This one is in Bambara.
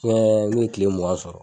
n'u ye kile mugan sɔrɔ.